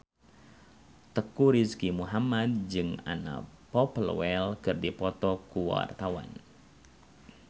Teuku Rizky Muhammad jeung Anna Popplewell keur dipoto ku wartawan